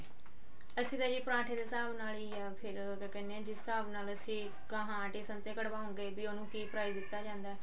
ਅਸੀਂ ਤਾਂ ਜੀ ਪਰਾਂਠੇ ਦੇ ਹਿਸਾਬ ਨਾਲ ਹੀ ਯਾ ਫ਼ੇਰ ਕਿਆ ਕਹਿਨੇ ਹਾਂ ਜਿਸ ਹਿਸਾਬ ਨਾਲ ਗਹਾਂ ਕਢਵਾਉਂਗੇ ਵੀ ਉਹਨੂੰ ਕੀ price ਦਿੱਤਾ ਜਾਂਦਾ